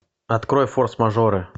открой форс мажоры